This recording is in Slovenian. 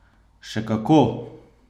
Še kako!